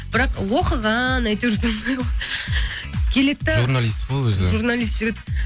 бірақ оқыған әйтеуір келеді де журналист қой өзі журналист жігіт